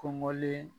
Kɔngɔlen